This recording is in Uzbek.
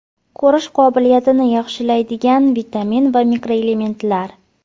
Ko‘rish qobiliyatini yaxshilaydigan vitamin va mikroelementlar.